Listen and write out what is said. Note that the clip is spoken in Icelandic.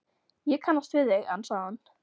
Ég kannast við þig, ansaði hann.